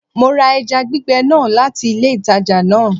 Mo ra eja gbìgbe náà láti ilé ìtajà náà